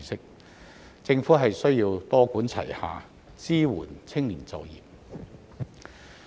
因此，政府需要多管齊下，支援青年就業。